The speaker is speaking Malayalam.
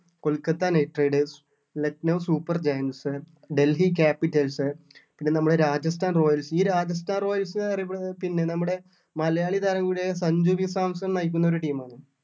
Kolkata knight riders Lucknow super gangs അഹ് ഡൽഹി capitals അഹ് പിന്നെ നമ്മുടെ രാജസ്ഥാൻ royals ഈ രാജസ്ഥാൻ royals അഹ് അറിയപ്പെടുന്നത് പിന്നെ നമ്മുടെ മലയാളി താരം കൂടി ആയ സഞ്ജു വി സാംസൺ നയിക്കുന്ന ഒരു team ആണ്